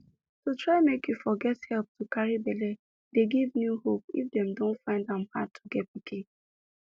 to try make you for get help to carry belle dey give new hope if them dey find am hard to get pikin